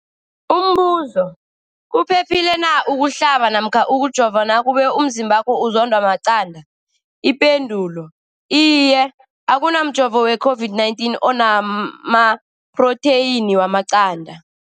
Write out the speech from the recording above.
Umbuzo, kuphephile na ukuhlaba namkha ukujova nakube umzimbakho uzondwa maqanda. Ipendulo, iye. Akuna mjovo weCOVID-19 ona maphrotheyini wamaqanda.